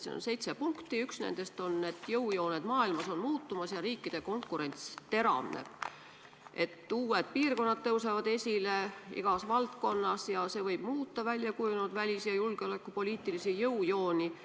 Siin on seitse punkti ja üks nendest on, et jõujooned maailmas on muutumas ja riikide konkurents teravneb, et uued piirkonnad tõusevad esile igas valdkonnas ja see võib muuta väljakujunenud välis- ja julgeolekupoliitilisi jõujooni.